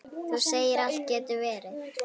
Þú segir alltaf getur verið!